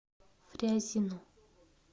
фрязино